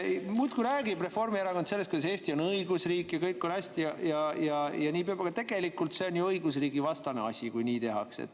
Reformierakond muudkui räägib, et Eesti on õigusriik ja kõik on hästi ja nii peabki olema, aga tegelikult see on ju õigusriigivastane asi, kui nii tehakse.